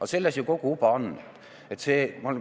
Aga selles ju kogu uba ongi!